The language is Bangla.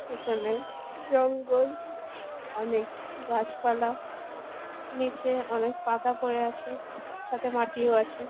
পেছনে জঙ্গল। অনেক গাছপালা। নীচে অনেক পাতা পরে আছে। সাথে মাটিও আছে ।